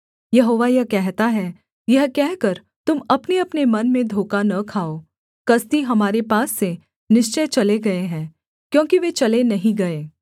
यहोवा यह कहता है यह कहकर तुम अपनेअपने मन में धोखा न खाओ कसदी हमारे पास से निश्चय चले गए हैं क्योंकि वे चले नहीं गए